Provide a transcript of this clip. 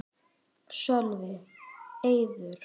Sölvi: Eiður?